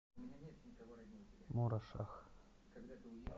мурашах